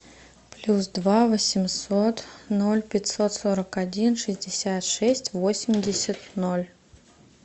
плюс два восемьсот ноль пятьсот сорок один шестьдесят шесть восемьдесят ноль